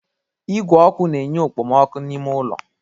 Igwe ọkụ na-enye okpomọkụ n'ime ulọ.